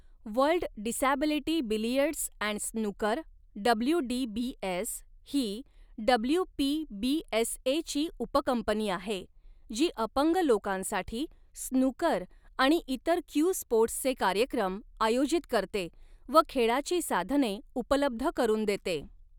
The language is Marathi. World Disability Billiards and Snooker WDBS ही डब्ल्यूपीबीएसएची उपकंपनी आहे, जी अपंग लोकांसाठी स्नूकर आणि इतर क्यू स्पोर्ट्सचे कार्यक्रम आयोजित करते व खेळाची साधने उपलब्ध करून देते.